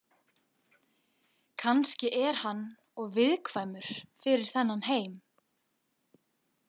Kannski er hann of viðkvæmur fyrir þennan heim.